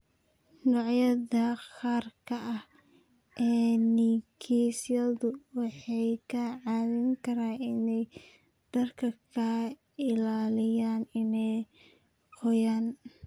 Noocyada gaarka ah ee nigisyadu waxay kaa caawin karaan inay dharka ka ilaaliyaan inay qoyaan.